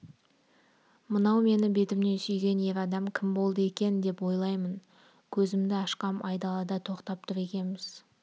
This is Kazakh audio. мынау мені бетімнен сүйген ер адам кім болды екен деп ойлаймын көзімді ашқам айдалада тоқтап тұр екенбіз